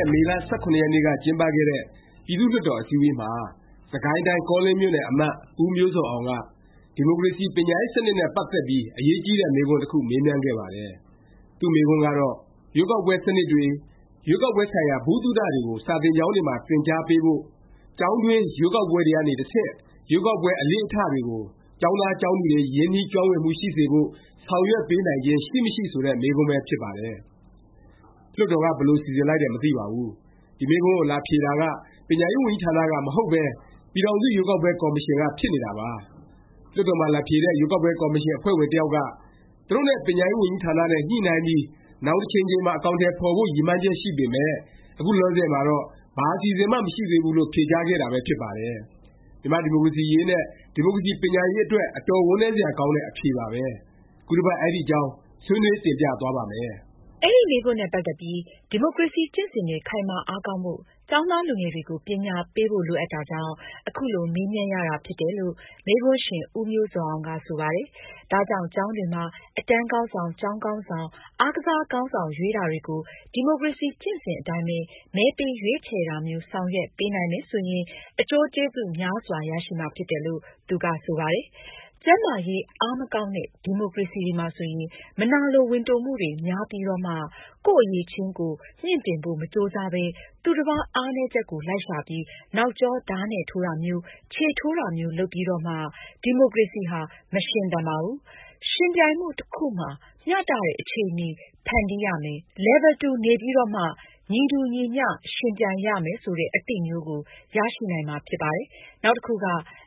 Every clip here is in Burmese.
ဲ့ မေလ ၁၇ ရက်နေ့က ကျင်းပခဲ့တဲ့ ပြည်သူ့လွှတ်တော် အစည်းအဝေးမှာ စစ်ကိုင်တိုင်း၊ ကောလင်းမြို့နယ် အမတ် ဦးမျိုးဇော်အောင်က ဒီမိုကရေစီ ပညာရေးစနစ်နဲ့ ပတ်သက်ပြီး အရေးကြီးတဲ့ မေးခွန်းတစ်ခု မေးမြန်းခဲ့ပါတယ်။ သူ့မေးခွန်းကတော့ “ရွေးကောက်ပွဲစနစ်တွေ၊ ရွေးကောက်ပွဲဆိုင်ရာ ဗဟုသုတတွေကို စာသင်ကျောင်းတွေမှာ သင်ကြားပေးဖို့၊ ကျောင်းတွင်း ရွေးကောက်ပွဲတွေက တစ်ဆင့် ရွေးကောက်ပွဲ အလေ့အထတွေကို ကျောင်းသား၊ ကျောင်းသူတွေ ရင်နှီးကျွမ်းဝင်မှုရှိစေဖို့ ဆောင်ရွက်ပေးနိုင်ခြင်းရှိ၊ မရှိ” ဆိုတဲ့ မေးခွန်းပဲ ဖြစ်ပါတယ်။ လွှတ်တော်က ဘယ်လို စီစဉ်လိုက်တယ် မသိပါဘူး၊ ဒီမေးခွန်းကို လာဖြေတာက ပညာရေးဝန်ကြီးဌာနက မဟုတ်ပဲ ပြည်ထောင်စု ရွေးကောက်ပွဲ ကော်မရှင်က ဖြစ်နေတာပါ။ လွှတ်တော်မှာ လာဖြေတဲ့ ရွေးကောက်ပွဲ ကော်မရှင် အဖွဲ့ဝင်တစ်ယောက်က သူတို့နဲ့ ပညာရေးဝန်ကြီးဌာန နဲ့ ညှိနှိုင်းပြီး နောင်တစ်ချိန်ချိန်မှာ အကောင်အထည် ဖော်ဖို့ ရည်မှန်းချက် ရှိပေမယ့် အခုလောလောဆယ်မှာတော့ ဘာအစီအစဉ်မှ မရှိသေးဘူးလို့ ဖြေကြားခဲ့တာပဲ ဖြစ်ပါတယ်။ မြန်မာ့ ဒီမိုကရေစီရေးနဲ့ ဒီမိုကရေစီ ပညာရေး အတွက် အတော်ဝမ်းနည်းစရာ ကောင်းတဲ့ အဖြေပါပဲ။ ခုတစ်ပတ် အဲဒီအကြောင်း ဆွေးနွေး တင်ပြသွားပါ့မယ်။ အဲဒီ မေးခွန်းနဲ့ ပတ်သက်ပြီး ဒီမိုကရေစီကျင့်စဉ်တွေ ခိုင်မာအားကောင်းဖို့ ကျောင်သားလူငယ်တွေကို ပညာပေးဖို့ လိုအပ်တာကြောင့် အခုလိုမေးမြန်းရတာဖြစ်တယ်လို့ မေးခွန်းရှင် ဦးမျိုးဇော်အောင်က ဆိုပါတယ်။ ဒါကြောင့် ကျောင်းတွေမှာ အတန်းခေါင်းဆောင်၊ ကျောင်းခေါင်းဆောင်၊ အားကစားခေါင်းဆောင် ရွေးတာတွေကို ဒီမိုကရေစီကျင့်စဉ်အတိုင်း မဲပေးရွေးချယ်တာမျိုး ဆောင်ရွက်ပေးနိုင်မယ်ဆိုရင် အကျိုးကျေးဇူးများစွာ ရရှိမှာဖြစ်တယ်လို့ သူက ဆိုပါတယ်။ “ကျန်းမာရေးအားမကောင်းတဲ့ ဒီမိုကရေစီတွေမှာဆိုရင် မနာလိုဝန်တိုမှုတွေများပြီးတော့မှ ကိုယ့်အရည်အချင်းကို မြှင့်တင်ဖို့မကြိုးစားဘဲ သူတစ်ပါးအားနည်းချက်ကို လိုက်ရှာပြီး နောက်ကျော ဓားနဲ့ထိုးတာမျိုး၊ ခြေထိုးတာမျိုး လုပ်ပြီးတော့မှ ဒီမိုကရေစီဟာ မရှင်သန်ကြပါဘူး။ ယှဉ်ပြိုင်မှု တစ်ခုမှာ မျှတတဲ့ အခြေအနေ ဖန်တီးရမယ်၊ Level တူက နေပြီးတော့မှ ညီတူညီမျှ ယှဉ်ပြိုင်ရမယ် ဆိုတဲ့အသိမျိုးကို ရရှိနိုင်မှာ ဖြစ်ပါတယ်။ နောက်တစ်ခုက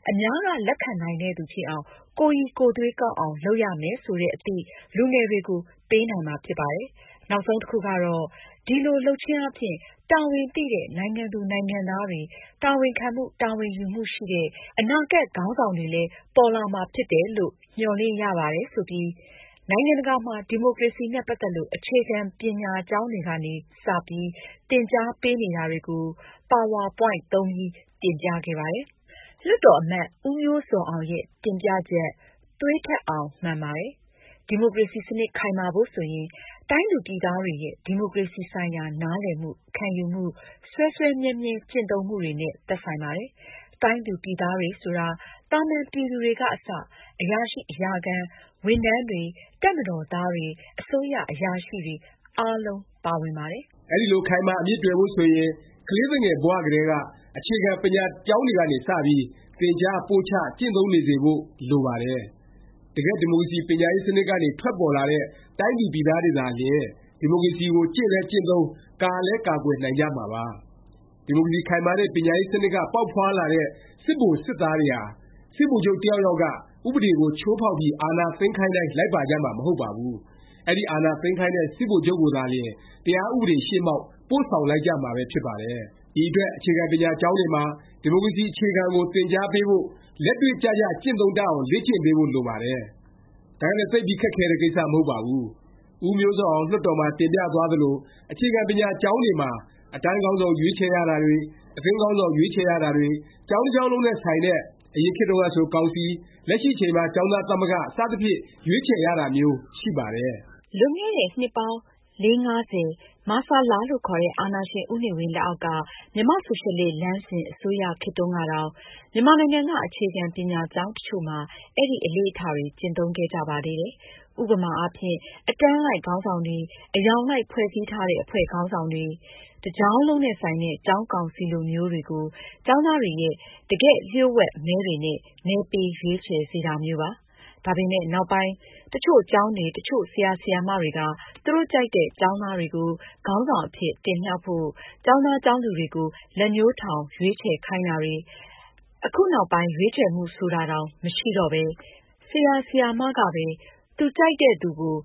အများကလက်ခံနိုင်တဲ့သူ ဖြစ်အောင် ကိုယ်ရည်ကိုယ်သွေးကောင်းအောင် လုပ်ရမယ်ဆိုတဲ့အသိ လူငယ်တွေကို ပေးနိုင်မှာဖြစ်ပါတယ်။ နောက်ဆုံးတစ်ခုကတော့ ဒီလိုလုပ်ခြင်းအားဖြင့် တာဝန်သိတဲ့ နိုင်ငံသူ နိုင်ငံသားတွေ၊ တာဝန်ခံမှု၊ တာဝန်ယူမှုရှိတဲ့ အနာဂတ် ခေါင်းဆောင်တွေလည်း ပေါ်လာမှာဖြစ်တယ်လို့ မျှော်လင့်ရပါတယ်” ဆိုပြီး နိုင်ငံတကာမှာ ဒီမိုကရေစီ နဲ့ ပတ်သက်လို့ အခြေခံ ပညာကျောင်းတွေကနေ စပြီး သင်ကြားပေးနေတာတွေကို ပါဝါပွိုင့်တွေ သုံးပြီး တင်ပြခဲ့ပါတယ်။ လွှတ်တော်အမတ် ဦးမျိုးဇော်အောင် ရဲ့ တင်ပြချက် သွေးထွက်အောင် မှန်ပါတယ်။ ဒီမိုကရေစီ စနစ် ခိုင်မာဖို့ ဆိုရင် တိုင်းသူပြည်သားတွေရဲ့ ဒီမိုကရေစီ ဆိုင်ရာ နားလည်မှု၊ ခံယူမှု၊ စွဲစွဲမြဲမြဲ ကျင့်သုံးမှုတွေနဲ့ သက်ဆိုင်ပါတယ်။ တိုင်းသူ ပြည်သားတွေဆိုတာ သာမန် ပြည်သူတွေက အစ၊ အရာရှိ အရာခံ ဝန်ထမ်းတွေ၊ တပ်မတော်သားတွေ၊ အစိုးရ အရာရှိတွေ အားလုံး ပါဝင်ပါတယ်။ အဲဒီလို ခိုင်မာ အမြစ်တွယ်ဖို့ ဆိုရင် ကလေးသူငယ် ဘ၀ ကတည်းက အခြေခံ ပညာကျောင်းတွေကနေ စပြီး သင်ကြား၊ ပို့ချ၊ ကျင့်သုံးနေစေဖို့ လိုပါတယ်။ တကယ့် ဒီမိုကရေစီ ပညာရေးစနစ်ကနေ ထွက်ပေါ်လာတဲ့ တိုင်းသူပြည်သားတွေသာလျင် ဒီမိုကရေစီကို ကျင့်လည်း ကျင့်သုံး၊ ကာလည်း ကာကွယ်နိုင်ကြမှာပါ။ ဒီမိုကရေစီ ခိုင်မာတဲ့ ပညာရေး စနစ်က ပေါက်ဖွားလာတဲ့ စစ်ဗိုလ်၊ စစ်သားတွေဟာ စစ်ဗိုလ်ချုပ်တစ်ယောက်က ဥပဒေကို ချိုးဖေါက်ပြီး အာဏာသိမ်းခိုင်းတိုင်း လိုက်ပါကြမှာ မဟုတ်ပါဘူး။ အဲဒီ အာဏာသိမ်းခိုင်းတဲ့ စစ်ဗိုလ်ချုပ်ကိုသာလျင် တရားဥပဒေ ရှေ့မှောက် ပို့ဆောင်လိုက်ကြမှာပဲ ဖြစ်ပါတယ်။ ဒီအတွက် အခြေခံပညာ ကျောင်းတွေမှာ ဒီမိုကရေစီ အခြေခံကို သင်ကြားပေးဖို့၊ လက်တွေ့ကျကျ ကျင့်သုံးတတ်အောင် လေ့ကျင့်ပေးဖို့ လိုပါတယ်။ ဒါကလည်း သိပ်ပြီး ခက်ခဲတဲ့ ကိစ္စ မဟုတ်ပါဘူး။ ဦးမျိုးဇော်အောင် လွှတ်တော်မှာ တင်ပြသွားသလို၊ အခြေခံပညာကျောင်းတွေမှာ အတန်းခေါင်းဆောင် ရွေးချယ်ရတာတွေ၊ အသင်းအလိုက် အသင်းခေါင်းဆောင် ရွေးချယ်ရတာတွေ၊ ကျောင်းတစ်ကျောင်းလုံးနဲ့ ဆိုင်တဲ့ အရင်ခေတ်တုန်းကဆို ကောင်စီ၊ လက်ရှိအချိန်မှာ ကျောင်းသားသမဂ္ဂ စသဖြင့် ရွေးချယ်ရတာမျိုး ရှိပါတယ်။ လွန်ခဲ့တဲ့ နှစ်ပေါင်း ၄-၅ ဆယ်၊ မဆလ လို့ခေါ်တဲ့ အာဏာရှင် ဦးနေဝင်း လက်အောက်က မြန်မာ့ဆိုရှယ်လစ် လမ်းစဉ် အစိုးရခေတ်တုန်းကတောင် မြန်မာနိုင်ငံက အခြေခံပညာကျောင်း တစ်ချို့မှာ အဲဒီ အလေ့အထတွေ ကျင့်သုံးခဲ့ကြပါသေးတယ်။ ဥပမာအားဖြင့် အတန်းလိုက် ခေါင်းဆောင်တွေ၊ အရောင်လိုက် ဖွဲ့စည်းထားတဲ့အဖွဲ့ခေါင်းဆောင်တွေ၊ တစ်ကျောင်းလုံးနဲ့ ဆိုင်တဲ့ ကျောင်းကောင်စီ လိုမျိုးတွေကို ကျောင်းသားတွေရဲ့ တကယ် လျှို့ဝှက်မဲတွေနဲ့ မဲပေး ရွေးချယ်စေတာမျိုးပါ။ ဒါပေမယ့် နောက်ပိုင်း တစ်ချို့ ကျောင်းတွေ၊ တစ်ချို့ ဆရာ၊ ဆရာမတွေက သူတို့ ကြိုက်တဲ့ ကျောင်းသားတွေကို ခေါင်းဆောင် အဖြစ် တင်မြှောက်ဖို့ ကျောင်းသား ကျောင်းသူတွေကို လက်ညှိုးထောင် ရွေးချယ်ခိုင်းတာတွေ၊ အခုနောက်ပိုင်း ရွေးချယ်မှု ဆိုတာတောင် မရှိတော့ပဲ ဆရာ၊ ဆရာမ ကပဲ သူကြိုက်သူကို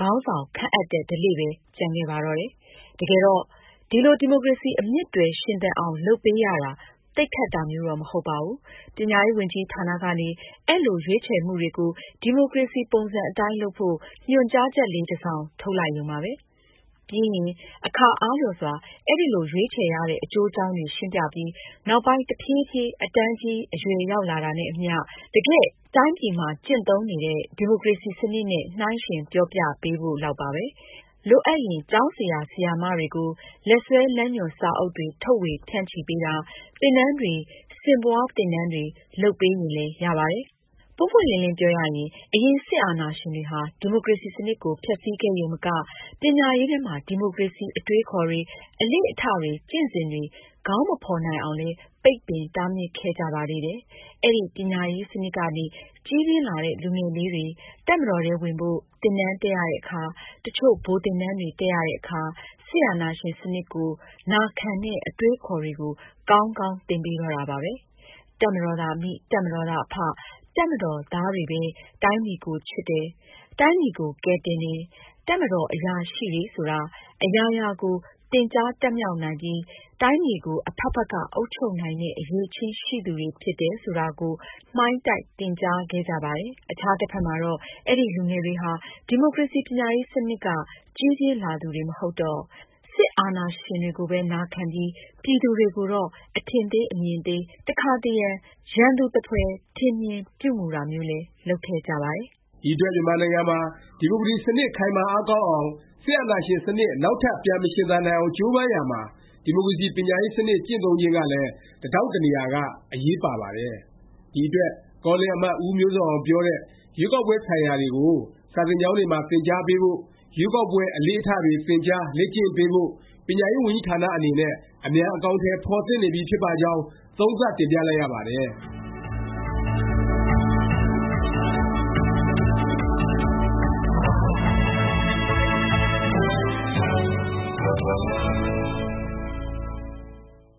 ခေါင်းဆောင် ခန့်အပ်တဲ့ ဓလေ့ပဲ ကျန်ခဲ့ပါတော့တယ်။ တကယ်တော့ ဒီလို ဒီမိုကရေစီ အမြစ်တွယ် ရှင်သန်အောင် လုပ်ပေးရတာ သိပ် ခက်တာမျိုးတော့ မဟုတ်ပါဘူး။ ပညာရေးဝန်ကြီးဌာနကနေ အဲလို ရွေးချယ်မှုတွေကို ဒီမိုကရေစီ ပုံစံ အတိုင်းလုပ်ဖို့ ညွှန်ကြားချက်လေး တစ်စောင် ထုတ်လိုက်ရုံပါပဲ။ ပြီးရင် အခါအားလျော်စွာ အဲလို ရွေးချယ်ရတဲ့ အကျိုးအကြောင်းတွေ ရှင်းပြပြီး နောက်ပိုင်း တဖြေးဖြေး အတန်းကြီး အရွယ်ရောက်လာတာနဲ့ အမျှ တကယ့် တိုင်းပြည်မှာ ကျင့်သုံးနေတဲ့ ဒီမိုကရေစီ စနစ်နဲ့ နှိုင်းယှဉ် ပြောပြပေးဖို့ လောက်ပါ။ လိုအပ်ရင် ကျောင်းဆရာ၊ ဆရာမတွေကို လက်စွဲလမ်းညွှန်စာအုပ်တွေ ထုတ်ေ၀ ဖြန့်ချီပေးတာ၊ သင်တန်းတွေ၊ ဆင့်ပွား သင်တန်းတွေ လုပ်ပေးရင်လည်း ရပါတယ်။ ပွင့်ပွင့်လင်းလင်းပြောရရင် အရင် စစ်အာဏာရှင်တွေဟာ ဒီမိုကရေစီ စနစ်ကို ဖျက်ဆီးခဲ့ရုံမက ပညာရေးထဲမှာ ဒီမိုကရေစီ အတွေးအခေါ်တွေ၊ အလေ့အထတွေ ကျင့်စဉ်တွေ ခေါင်းမဖေါ်နိုင်အောင်လည်း ပိတ်ပင် တားမြစ်ခဲ့ကြပါသေးတယ်။ အဲဒီ ပညာရေးစနစ်ကနေ ကြီးပျင်းလာတဲ့ လူငယ်လေးတွေ တပ်မတော်ထဲဝင်ဖို့ သင်တန်းတက်ရတဲ့အခါ၊ တစ်ချို့ ဗိုလ်သင်တန်းတွေ တက်ရတဲ့အခါ စစ်အာဏာရှင် စနစ်ကို နာခံတဲ့ အတွေးအခေါ်တွေကို ကောင်းကောင်း သင်ပေးတော့တာပါပဲ။ တပ်မတော်သာအမိ၊ တပ်မတော်သာ အဖ၊ တပ်မတော်သားတွေပဲ တိုင်းပြည်ကိုချစ်တယ်၊ တိုင်းပြည်ကို ကယ်တင်တယ်၊ တပ်မတော် အရာရှိတွေဆိုတာ အရာရာကို သင်ကြားတတ်မြောက်နိုင်ပြီး တိုင်းပြည်ကို အဖက်ဖက်က အုပ်ချုပ်နိုင်တဲ့ အရည်အချင်းရှိသူတွေ ဖြစ်တယ်ဆိုတာကို မှိုင်းတိုက် သင်ကြားခဲ့ကြပါတယ်။ အခြားတစ်ဖက်မှာတော့ အဲဒီလူငယ်တွေဟာ ဒီမိုကရေစီ ပညာရေးစနစ်က ကြီးပြင်းလာသူတွေ မဟုတ်တော့ စစ်အာဏာရှင်တွေကိုပဲ နာခံပြီး ပြည်သူတွေကိုတော့ အထင်သေး အမြင်သေး၊ တခါတရံ ရန်သူသဖွယ် ထင်မြင် ပြုမူတာမျိုးလည်း လုပ်ခဲ့ကြပါတယ်။ ဒီအတွက် မြန်မာနိုင်ငံမှာ ဒီမိုကရေစီ စနစ် ခိုင်မာ အားကောင်းအောင်၊ စစ်အာဏာရှင် စနစ် နောက်ထပ် ပြန်မရှင်သန်နိုင်အောင် ကြိုးပမ်းရာမှာ ဒီမိုကရေစီ ပညာရေးစနစ် ကျင့်သုံးခြင်းကလည်း တဒေါင့်တနေရာက အရေးပါပါတယ်။ ဒီအတွက် ကောလင်းအမတ် ဦးမျိုးဇော်အောင် ပြောတဲ့ ရွေးကောက်ပွဲ ဆိုင်ရာတွေကို စာသင်ကျောင်းတွေမှာ သင်ကြားပေးဖို့၊ ရွေးကောက်ပွဲ အလေ့အထ တွေ သင်ကြား၊ လေ့ကျင့်ပေးဖို့ ပညာရေး ဝန်ကြီးဌာန အနေနဲ့ အမြန် အကောင်အထည် ဖော်သင့်နေပြီးဖြစ်ပါကြောင်း သုံးသပ် တင်ပြလိုက်ရပါတယ်။